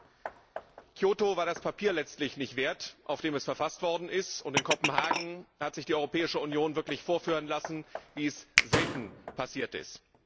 Kyoto war letztlich das Papier nicht wert, auf dem es verfasst worden ist, und in Kopenhagen hat sich die Europäische Union wirklich vorführen lassen, wie es selten passiert ist.